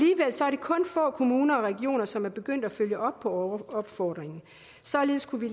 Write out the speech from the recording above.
kun få kommuner og regioner som er begyndt at følge op på opfordringen således kunne vi